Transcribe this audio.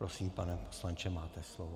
Prosím, pane poslanče, máte slovo.